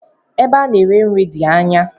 Ebe ana ere nri di ányá.